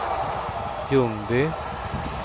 Ljungby